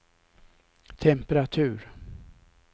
temperatur